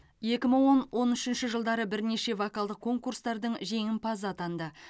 екі мың он он үшінші жылдары бірнеше вокалдық конкурстардың жеңімпазы атанды